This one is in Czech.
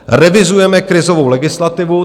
Revidujeme krizovou legislativu.